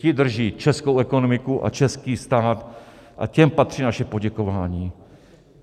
Ti drží českou ekonomiku a český stát a těm patří naše poděkování.